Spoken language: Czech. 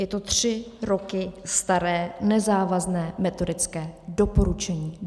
Je to tři roky staré nezávazné metodické doporučení.